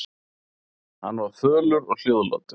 Hann var fölur og hljóðlátur.